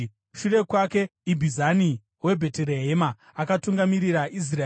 Shure kwake, Ibhizani weBheterehema akatungamirira Israeri.